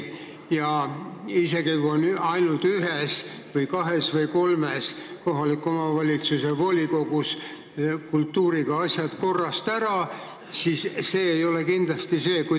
Isegi kui ainult ühes, kahes või kolmes kohaliku omavalitsuse volikogus on kultuuriga asjad korrast ära, siis see ei ole kindlasti õige.